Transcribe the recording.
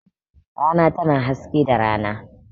Rana tana haske da rana.